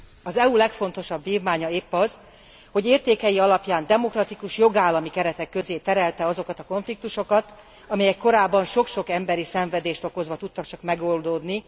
Az EU legfontosabb vívmánya épp az, hogy értékei alapján demokratikus jogállami keretek közé terelte azokat a konfliktusokat, amelyek korábban sok sok emberi szenvedést okozva tudtak csak megoldódni.